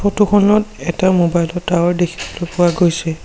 Photo খনত এটা mobile ৰ টাৱাৰ দেখিবলৈ পোৱা গৈছে।